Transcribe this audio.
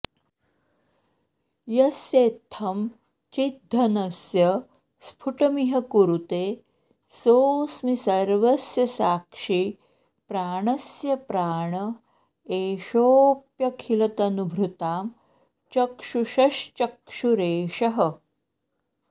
यस्येत्थं चिद्घनस्य स्फुटमिह कुरुते सोऽस्मि सर्वस्य साक्षी प्राणस्य प्राण एषोऽप्यखिलतनुभृतां चक्षुषश्चक्षुरेषः